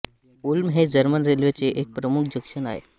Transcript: उल्म हे जर्मन रेल्वेचे एक प्रमुख जंक्शन आहे